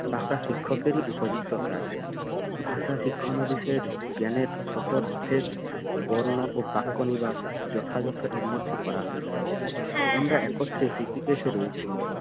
পাকা শিক্ষকেরই উপযুক্ত কাজ ভাষা শিক্ষানিবিশের জ্ঞানের সতর্থের বন্য ও পাক্কনিবাস যথাযথ এর মধ্যে করা হয়েছে আমরা একত্রে শিক্ষিকেশে রয়েছি